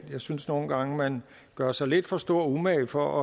synes nogle gange man gør sig lidt for stor umage for